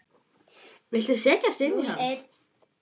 Viltu setjast í hann?